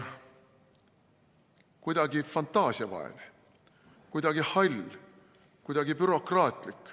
Kuidagi fantaasiavaene, kuidagi hall, kuidagi bürokraatlik.